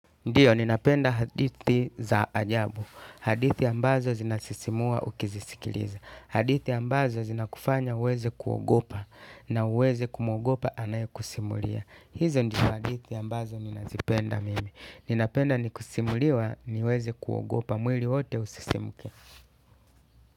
Ndiyo, ninapenda hadithi za ajabu. Hadithi ambazo zinasisimua ukizisikiliza. Hadithi ambazo zinakufanya uweze kuogopa na uweze kumogopa anae kusimulia. Hizo ndizo hadithi ambazo ninazipenda mimi. Ninapenda nikisimuliwa niweze kuogopa mwili wote usisimke.